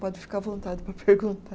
Pode ficar à vontade para perguntar.